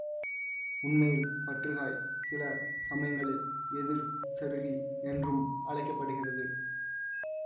உண்மையில் பற்றுக்காய் சில சமயங்களில் எதிர் செருகி என்றும் அழைக்க படுகிறது